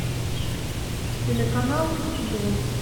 телеканал футбол